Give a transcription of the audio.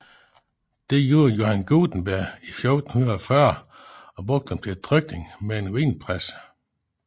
Det gjorde Johann Gutenberg i 1440 og brugte dem til trykning med en vinpresse